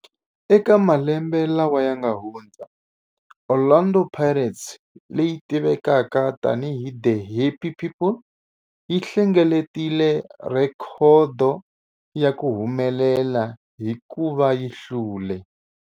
Eka malembe lawa yanga hundza, Orlando Pirates, leyi tivekaka tani hi 'The Happy People', yi hlengeletile rhekhodo ya ku humelela hikuva yi hlule.